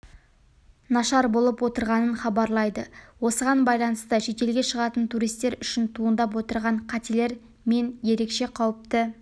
нашар болып отырғанын хабарлайды осыған байланысты шетелге шығатын туристер үшін туындап отырған қатерлер менерекше қауіпті